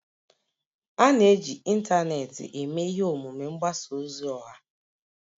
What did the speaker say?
A na-eji ịntanetị eme ihe omume mgbasa ozi ọha